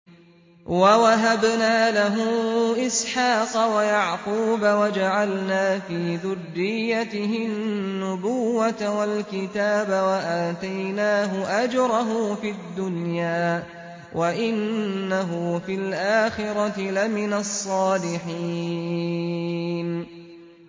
وَوَهَبْنَا لَهُ إِسْحَاقَ وَيَعْقُوبَ وَجَعَلْنَا فِي ذُرِّيَّتِهِ النُّبُوَّةَ وَالْكِتَابَ وَآتَيْنَاهُ أَجْرَهُ فِي الدُّنْيَا ۖ وَإِنَّهُ فِي الْآخِرَةِ لَمِنَ الصَّالِحِينَ